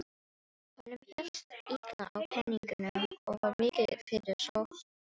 Honum hélst illa á peningum og var mikið fyrir sopann.